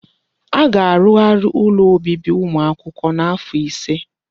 Aga arugharị ụlọ obibi ụmụ akwụkwọ n'afọ ise.